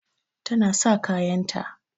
Tana sa kayanta.